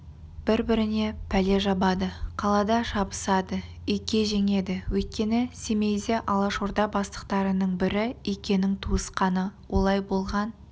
бір-біріне пәле жабады қалаға шабысады ике жеңеді өйткені семейде алашорда бастықтарының бірі икенің туысқаны олай болған